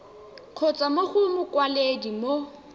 kgotsa mo go mokwaledi mo